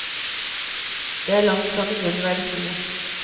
Det er langt fra nødvendig å være to.